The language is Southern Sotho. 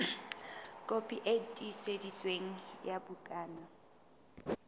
kopi e tiiseditsweng ya bukana